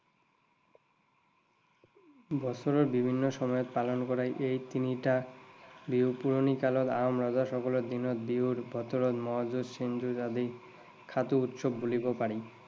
বছৰৰ বিভিন্ন সময়ত পালন কৰা এই তিনিটা বিহুত পুৰণি কালত আহোম ৰজা সকলৰ দিনত বিহুৰ বতৰত মঁহ যুজ, শিং যুজ আদি খাটো উৎসৱ বুলিব পাৰি।